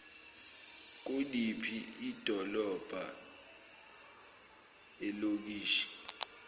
kuliphi idolobha ilokishi